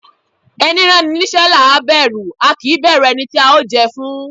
Ẹni rán ni níṣẹ́ làá bẹ̀rù, a kì í bẹ̀rù ẹni tí a ó jẹ fún